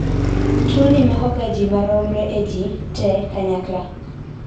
tuwoni makoga ji maromre e ji te kanyakla